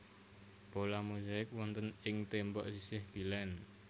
Pola mozaik wonten ing tembok sisih kilèn